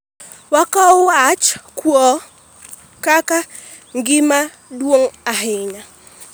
Wakawo wach kuo kaka gima duong' ahiinya